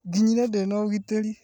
Nginyire ndĩna ũgitĩri